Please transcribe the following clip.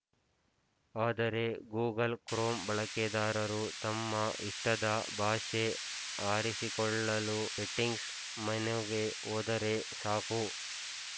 ಆದರೆ Google Chrome ಬಳಕೆದಾರರು ತಮ್ಮ ಇಷ್ಟದ ಭಾಷೆ ಆರಿಸಿಕೊಳ್ಳಲು ಸೆಟಿಂಗ್ಸ್ ಮೆನುಗೆ ಹೋದರೆ ಸಾಕು